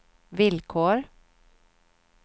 villkor